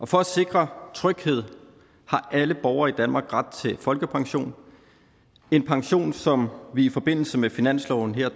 for at sikre tryghed har alle borgere i danmark ret til folkepension en pension som vi i forbindelse med finansloven her